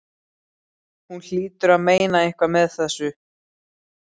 Hún hlýtur að meina eitthvað með þessu!